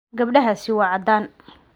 Gabadhaasi waa caddaan.